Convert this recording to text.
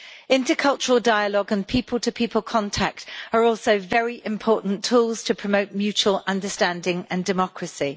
Intercultural dialogue and people to people contact are also very important tools to promote mutual understanding and democracy.